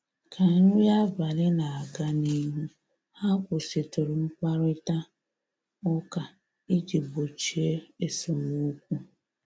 Ka nri abalị na-aga n'ihu, ha kwụsịtụrụ mkparịta ụka iji gbochie esemokwu